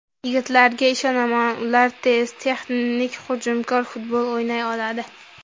Yigitlarga ishonaman, ular tez, texnik, hujumkor futbol o‘ynay oladi.